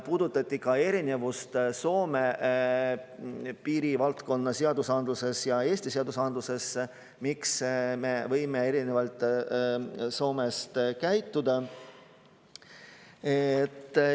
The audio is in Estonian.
Puudutati ka erinevusi Soome ja Eesti piirivaldkonna seadusandluses ja seda, miks me võime Soomest erinevalt käituda.